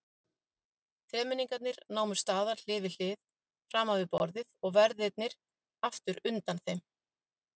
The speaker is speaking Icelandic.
Þremenningarnir námu staðar hlið við hlið framan við borðið og verðirnir aftur undan þeim.